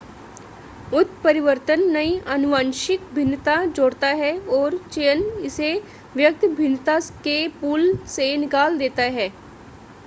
उत्परिवर्तन नई आनुवंशिक भिन्नता जोड़ता है और चयन इसे व्यक्त भिन्नता के पूल से निकाल देता है